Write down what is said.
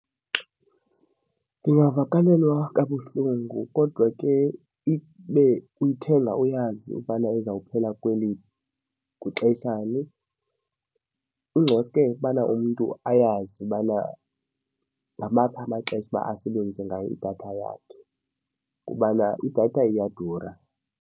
Ndingavakalelwa kabuhlungu kodwa ke ibe uyithenga uyazi ubana izawuphela kwixeshani. Ingcoske bana umntu ayazi ubana ngamanye amaxesha uba asebenzise ngayo idatha yakhe kubana idatha iyadura.